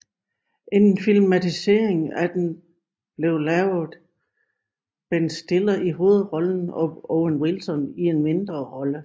En filmatisering af den blevet lavet Ben Stiller i hovedrollen og Owen Wilson i en mindre rolle